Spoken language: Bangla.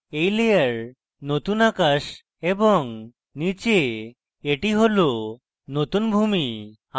এই layer নতুন আকাশ এবং নীচে এটি নতুন ভূমি